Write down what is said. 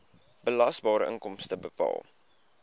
belasbare inkomste bepaal